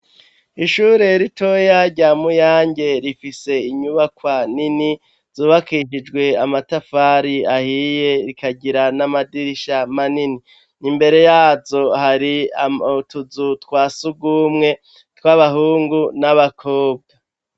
Ishure ritoya rya muyange rifise inyubakwa nini zubakishijwe amatafari ahiye rikagira n'amadirisha manini, imbere yazo hari utuzu twa sugumwe tw'abahungu n'abakobwa.